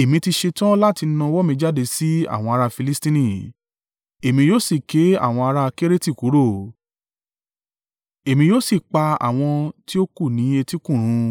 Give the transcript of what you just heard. “Èmi ti ṣetán láti na ọwọ́ mi jáde sí àwọn ará Filistini, èmi yóò sì ké àwọn ará Kereti kúrò, èmi yóò sì pa àwọn tí ó kù ní etí kún run.